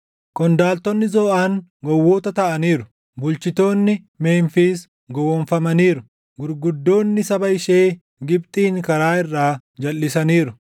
Qondaaltonni Zooʼaan gowwoota taʼaniiru; bulchitoonni Memfiis gowwoomfamaniiru; gurguddoonni saba ishee Gibxiin karaa irraa jalʼisaniiru.